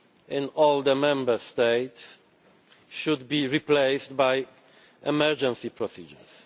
in all the Member States should be replaced by emergency procedures.